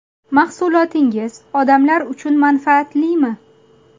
Mahsulotingiz odamlar uchun manfaatlimi?